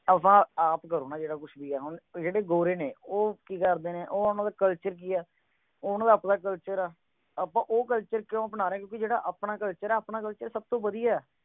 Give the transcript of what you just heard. ਆਪਾਂ ਆਪ ਕਰੋਨਾ ਜਿਹੜਾ ਕੁਝ ਵੀ ਆ ਹੁਣ ਜਿਹੜੇ ਗੋਰੇ ਨੇ ਉਹ ਕੀ ਕੇਰ ਦੇ ਨੇ ਉਨ੍ਹਾਂ ਦਾ culture ਕੀ ਆ ਓਨਾ ਦਾ ਆਪਣਾ culture ਆ ਅਪਾ ਉਹ culture ਕਿਉਂ ਅਪਣਾ ਰਹੇ ਹਾਂ ਕਿਉਂਕਿ ਜੋੜਾ ਆਪਣਾ culture ਹੈ ਆਪਣਾ culture ਸਭ ਤੋਂ ਵਧੀਆ ਹੈ